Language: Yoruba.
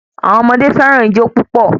Àwọn ọmọdé fẹràn ijó púpò